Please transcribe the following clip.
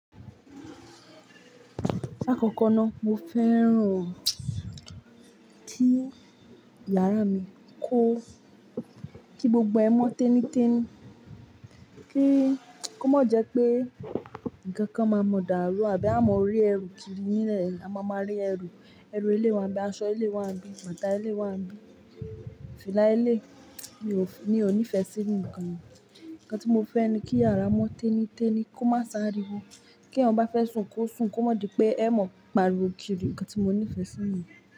Lakòkò náà, mo fẹ́ràn kí yàrá mi kó kí gbogbo ẹ mọ tení téní, kí ó mo jẹ́ pé ǹnkan kan máa mọ̀dàrú àbí a máa mọ rí ẹrù kiri nílẹ̀. A máa máa rí ẹrù, ẹrù eleyii wa ńibí, aṣọ eleyii wa ńibí, bàtà eleyii wa ńibi. Fìlá eleyii, mi ò ní ìfẹ́ sí ǹnkan ni. Nnkan tí mo fẹ́ ni kí yàrá mọ́ téní téní, kó má saríwọ, kí ẹ̀eyan ọ ba fẹ́ sùn, kó sùn, kó má di pé ẹ mọ̀ pariwo kiri. Nnkan tí mo ní ìfẹ́ sí nu.